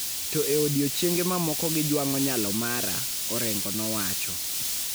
to e odiechienge mamoko gijwang'o nyalo mara, Orengo nowacho.